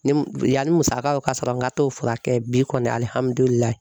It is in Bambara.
Ni yanni musakaw ka sɔrɔ n ka t'o furakɛ bi kɔni .